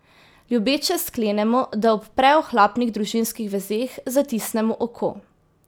Ljubeče sklenemo, da ob preohlapnih družinskih vezeh zatisnemo oko.